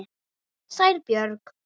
Sæl Björg.